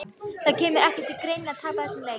Það kemur ekki til greina að tapa þessum leik!